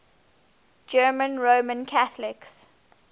german roman catholics